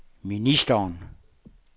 ministeren